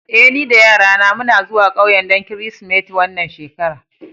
Eh, ni da yarana muna zuwa ƙauyen don Kirsimeti wannan shekara.